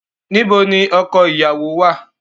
Nibo ni ọkọ iyawo wa?